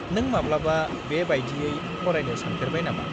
-नों माब्लाबा बे बायदियै फरायनो सानफेरबाय नामा?